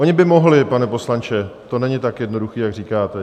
Oni by mohli, pane poslanče, to není tak jednoduché, jak říkáte.